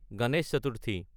Ganesh Chaturthi